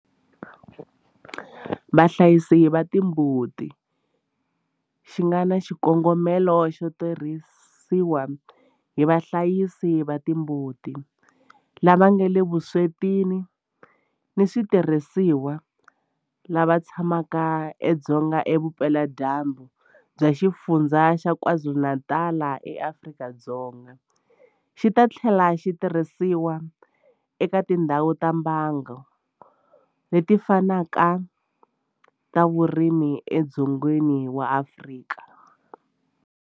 Vahlayisi va timbuti xi nga na xikongomelo xo tirhisiwa hi vahlayisi va timbuti lava nga le vuswetini hi switirhisiwa lava tshamaka edzonga vupeladyambu bya Xifundzha xa KwaZulu-Natal eAfrika-Dzonga, xi ta tlhela xi tirhisiwa eka tindhawu ta mbango leti fanaka ta vurimi edzongeni wa Afrika.